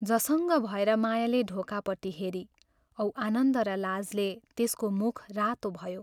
" झसङ्ग भएर मायाले ढोकापट्टि हेरी औ आनन्द र लाजले त्यसको मुख रातो भयो।